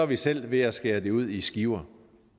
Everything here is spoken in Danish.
vi selv ved at skære det ud i skiver